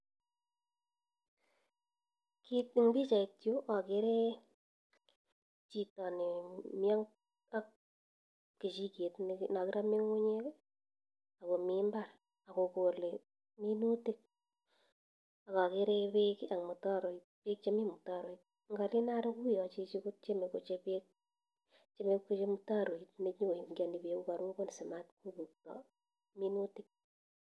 En pichait yu akere chito nemi ak kechiket nakiramee ng'ung'unyek , akomi mbar akokole minutik akakere bek en mutaroit, ngalen aro kouyon chichi kotyeme kochap mtaroit nenyokoingiani bek yekarobon simatkobukto minutik.